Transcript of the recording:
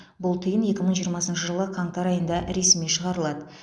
бұл тиын екі мың жиырмасыншы жылы қаңтар айында ресми шығарылады